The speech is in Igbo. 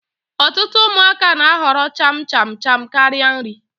Ọtụtụ ụmụaka na-ahọrọ cham cham cham karịa nri